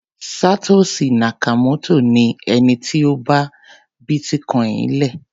Satoshi Nakamoto ni ẹni tí ó dá bítíkoìnì le.